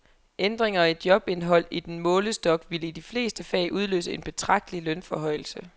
Ændringer i jobindhold i den målestok ville i de fleste fag udløse en betragtelig lønforhøjelse.